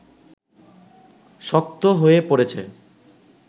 শক্ত হয়ে পড়েছে